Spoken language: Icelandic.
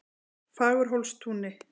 Fagurhólstúni